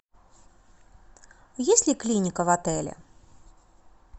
есть ли клиника в отеле